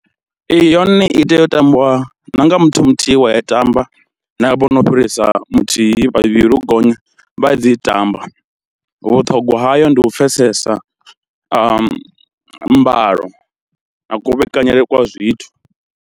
Ee yone i tea u tambiwa na nga muthu muthihi wa i tamba na vho no fhirisa muthihi vhavhili u gonya vha ya dzi tamba, vhuṱhongwa hayo ndi u pfesesa mbalo na kuvhekaneyele kwa zwithu.